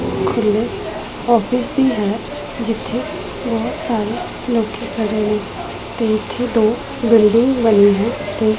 ਥੱਲੇ ਆਫਿਸ ਹੈ ਜਿੱਥੇ ਬਹੁਤ ਸਾਰੇ ਲੜਕੇ ਖੜੇ ਹੋਏ ਹਨ ਤੇ ਇੱਥੇ ਦੋ ਬਿਲਡਿੰਗ ਬਣੀ ਹੈ।